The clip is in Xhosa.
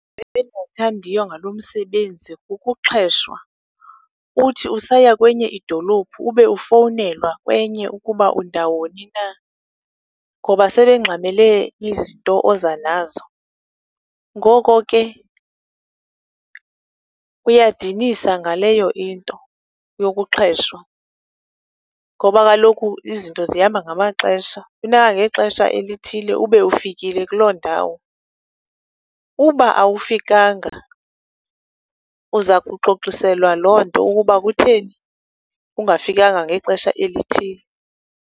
endingayithandiyo ngalo msebenzi kukuxheshwa. Uthi usaya kwenye idolophu ube ufownelwa kwenye, ukuba undawoni na, ngoba sebengxamele izinto oza nazo. Ngoko ke, kuyadinisa ngaleyo into yokuxheshwa. Ngoba kaloku izinto zihamba ngamaxesha, funeka ngexesha elithile ube ufikile kuloo ndawo. Uba awufikanga uza kuxoxiselwa loo nto ukuba kutheni ungafikanga ngexesha elithile.